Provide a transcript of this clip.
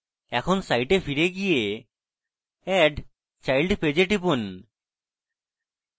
এখন সাইটে ফিরে গিয়ে add child page এ টিপুন